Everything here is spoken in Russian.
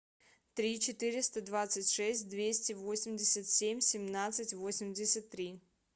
три четыреста двадцать шесть двести восемьдесят семь семнадцать восемьдесят три